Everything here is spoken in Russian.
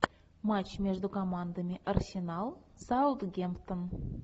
матч между командами арсенал саутгемптон